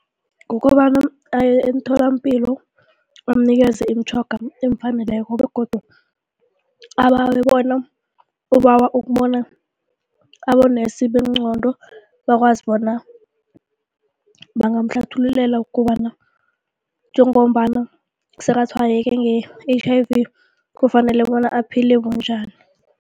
Kukobana aye emtholampilo bamunikeze imitjhoga elifaneleko begodu abawe bona ubawa ukubona abonesi bengqondo bakwazi bona bangamuhlathululela kobana njengombana sekatshwayeke nge-H_I_V kufanele bona aphile bunjani.